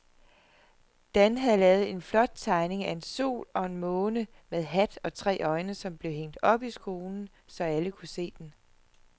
Dan havde lavet en flot tegning af en sol og en måne med hat og tre øjne, som blev hængt op i skolen, så alle kunne se den.